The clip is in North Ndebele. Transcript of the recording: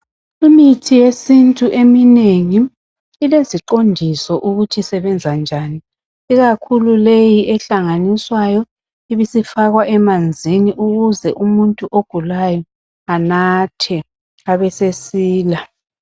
Imithi yesintu eminengi ileziqondiso ukuthi isebenza njani ikakhulu leyi ehlanganiswayo ibisifakwa emanzini ukuze umuntu ogulayo anathe abesesila.